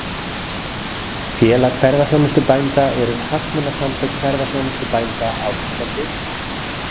Félag ferðaþjónustubænda eru hagsmunasamtök ferðaþjónustubænda á Íslandi.